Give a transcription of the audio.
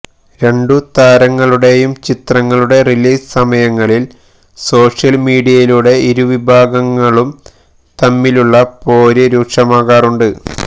രണ്ടു താരങ്ങളുടെയും ചിത്രങ്ങളുടെ റിലീസ് സമയങ്ങളില് സോഷ്യല് മീഡിയയിലൂടെ ഇരുവിഭാഗങ്ങളും തമ്മിലുള്ള പോര് രൂക്ഷമാകാറുമുണ്ട്